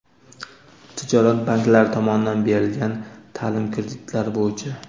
tijorat banklari tomonidan berilgan ta’lim kreditlari bo‘yicha:.